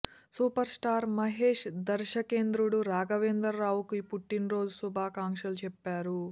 super star Mahesh దర్శకేంద్రుడు రాఘవేంద్ర రావుకి పుట్టిన రోజు శుభాకాంక్షలు చెప్పారు